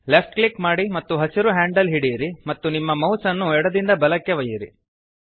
left click ಮಾಡಿ ಮತ್ತು ಹಸಿರು ಹ್ಯಾಂಡಲ್ ಹಿಡಿಯಿರಿ ಮತ್ತು ನಿಮ್ಮ ಮೌಸ್ ಅನ್ನು ಎಡದಿಂದ ಬಲಕ್ಕೆ ಒಯ್ಯಿರಿ